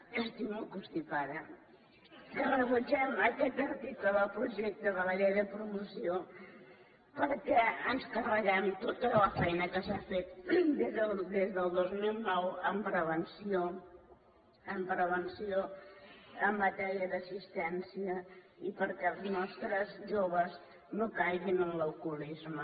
estic molt constipada eh que rebutgem aquest article del projecte de la llei de promoció perquè ens carreguem tota la feina que s’ha fet des del dos mil nou en prevenció en matèria d’assistència i perquè els nostres joves no caiguin en l’alcoholisme